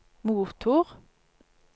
motor